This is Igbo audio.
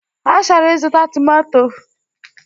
Ọ chọrọ ịzụta tomanto